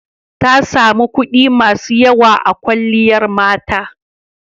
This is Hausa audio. Ta sami kuɗi masu yawa a kwalliyar mata.